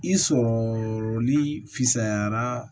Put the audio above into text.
I sɔrɔli fisayara